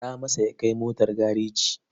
Faɗa masa ya kai motar gareji.